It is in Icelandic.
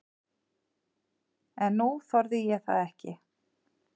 En nú þorði ég það ekki.